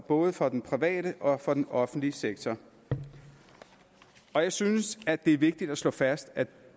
både for den private og for den offentlige sektor jeg synes at det er vigtigt at slå fast at